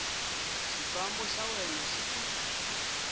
xifambo xa wena xi ku